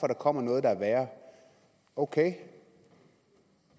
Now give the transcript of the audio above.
der kommer noget der er værre ok